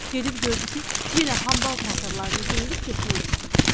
gedib gördü ki, yenə hambal paltarlarını geyinib getmək istəyir.